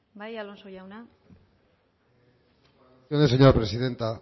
bai alonso jauna mire señora presidenta